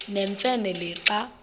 nemfe le xa